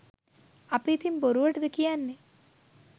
අපි ඉතිං බොරුවටද කියන්නෙ